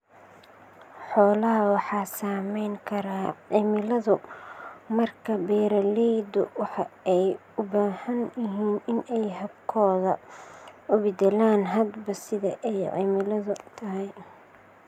Xoolaha waxa saamayn kara cimiladu, markaa beeralaydu waxa ay u baahan yihiin in ay habkooda u bedelaan hadba sida ay cimiladu tahay.